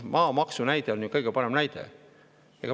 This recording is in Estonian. Maamaksu näide on ju kõige parem näide.